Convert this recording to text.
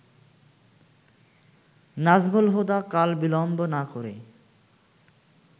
নাজমুল হুদা কালবিলম্ব না করে